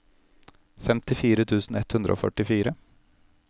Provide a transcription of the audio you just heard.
femtifire tusen ett hundre og førtifire